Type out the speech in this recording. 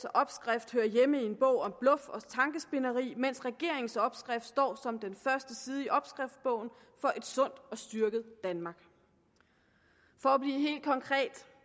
opskrift hører hjemme i en bog om bluff og tankespind mens regeringens opskrift står som den første side i opskriftsbogen for et sundt og styrket danmark for at blive helt konkret